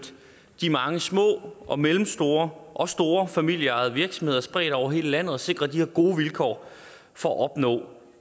de mange små og mellemstore og store familieejede virksomheder spredt over hele landet og sikre de her gode vilkår for at opnå